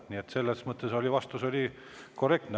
Nii et selles mõttes vastus oli korrektne.